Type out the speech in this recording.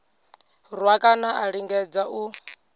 rwa kana a lingedza u